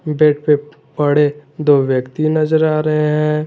Bed पे पड़े दो व्यक्ति नजर आ रहे हैं।